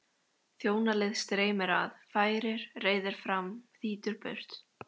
Þjónalið streymir að, færir, reiðir fram, þýtur burt.